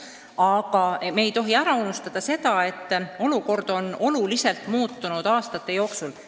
Aga me ei tohi unustada, et olukord on aastate jooksul kõvasti muutunud.